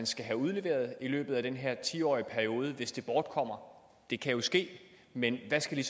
skal have udleveret i løbet af den her ti årige periode hvis det bortkommer det kan jo ske men hvad skal